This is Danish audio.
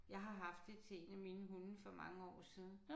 Jeg har haft det til 1 af mine hunde for mange år siden